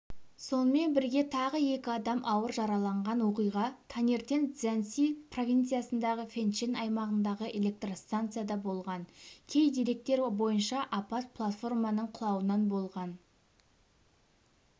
сонымен бірге тағы екі адам ауыр жараланған оқиға таңертеңцзянси провинциясындағы фэнчэн аймағындағы электростанцияда болған кей деректер бойынша апат платформаның құлауынан болған